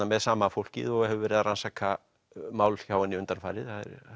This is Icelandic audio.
með sama fólkið og hefur verið að rannsaka mál hjá henni undanfarið